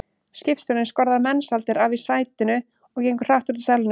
Skipstjórinn skorðar Mensalder af í sætinu og gengur hratt út úr salnum.